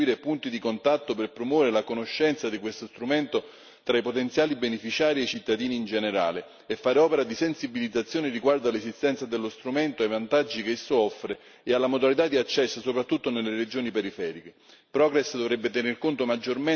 La Commissione e gli Stati membri dovrebbero istituire punti di contatto per promuovere la conoscenza di questo strumento tra i potenziali beneficiari e i cittadini in generale e fare opera di sensibilizzazione riguardo all'esistenza dello strumento e ai vantaggi che esso offre e alla modalità di accesso, soprattutto nelle regioni periferiche.